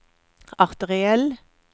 arteriell